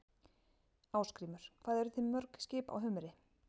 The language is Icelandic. Ásgrímur: Hvað eruð þið með mörg skip á humri?